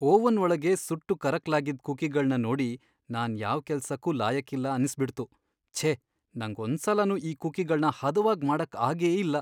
Oven ಒಳಗೆ ಸುಟ್ಟು ಕರಕ್ಲಾಗಿದ್ ಕುಕೀಗಳ್ನ ನೋಡಿ ನಾನ್ ಯಾವ್ ಕೆಲ್ಸಕ್ಕೂ ಲಾಯಕ್ಕಿಲ್ಲ ಅನ್ನಿಸ್ಬಿಡ್ತು, ಛೇ, ನಂಗ್ ಒಂದ್ಸಲನೂ ಈ ಕುಕೀಗಳ್ನ ಹದವಾಗ್ ಮಾಡಕ್ ಆಗೇ ಇಲ್ಲ.